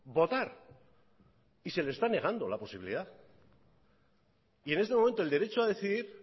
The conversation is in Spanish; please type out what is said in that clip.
votar y se les está negando la posibilidad y en este momento el derecho a decidir